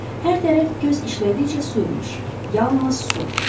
Hər tərəf göz işlədikcə su imiş, yalnız su.